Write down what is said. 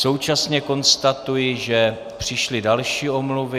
Současně konstatuji, že přišly další omluvy.